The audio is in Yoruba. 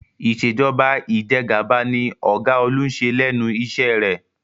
Ìṣèjọba Ìjẹgàba ni ọ̀gá Olú ń ṣe lẹ́nu iṣẹ́ rẹ̀